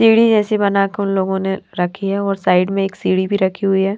सीढ़ी जैसी बनाकर उन लोगों ने रखी है और साइड में एक सीढ़ी भी रखी हुई है।